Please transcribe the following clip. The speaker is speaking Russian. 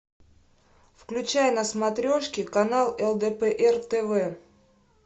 включай на смотрешке канал лдпр тв